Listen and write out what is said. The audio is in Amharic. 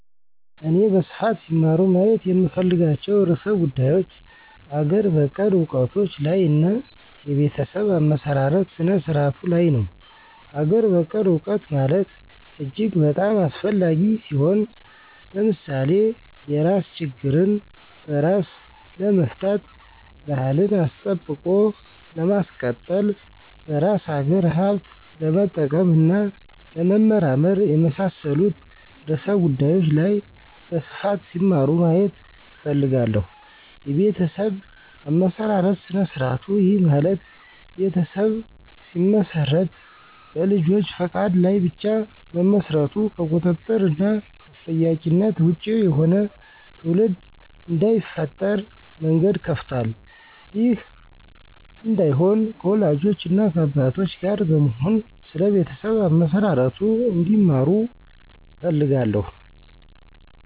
እኔ በስፋት ሲማሩ ማየት የምፈልጋቸው ርዕሰ ጉዳዮች አገር በቀል እውቀቶች ላይ እና የቤተሰብ አመሰራረት ስነ-ስርዓቱ ላይ ነው። -አገር በቀል እውቀት ማለት እጅግ በጣም አስፈላጊ ሲሆን። ለምሳሌ የራስ ችግርን በራስ ለመፍታት፣ ባህልን አስጠብቆ ለማስቀጠል፣ በራስ አገር ሀብት ለመጠቀም እና ለመመራመር፣ የመሳሠሉት ርዕሰ ጉዳዮች ላይ በስፋት ሲማሩ ማየት እፈልጋለሁ። -የቤተሠብ አመሠራርት ስነ-ስርዐቱ፦ ይህ ማለት ቤተሠብ ሲመሰረት በልጆች ፈቃድ ላይ ብቻ መመስረቱ ከቁጥጥር እና ከተጠያቂነት ወጭ የሆነ ትውልድ እዳይፈጠር መንገድ ከፍቷል። ይህ እዳይሆን ከወላጆች እና ከአባቶች ጋር በመሆን ስለ ቤተሠብ አመሠራርቱ እንዲማሩ እፈልጋለሁ